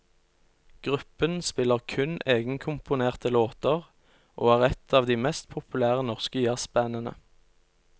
Gruppen spiller kun egenkomponerte låter og er et av de mest populære norske jazzbandene.